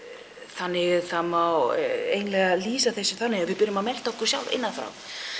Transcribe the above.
þannig að það má eiginlega lýsa þessu þannig að við byrjum að melta okkur sjálf innan frá